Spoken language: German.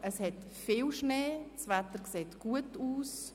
Es hat viel Schnee, die Wetterprognosen sehen gut aus.